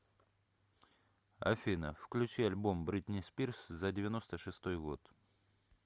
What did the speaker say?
афина включи альбом бритни спирс за девяносто шестой год